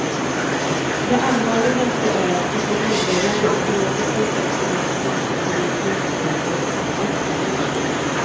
Det allvarligaste är att de grundläggande ekologiska aspekterna på massbilismens effekter knappast berörs.